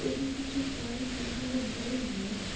যদি কিছু পাই তাহলে বলবো।